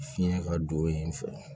Fiɲɛ ka don yen fɔlɔ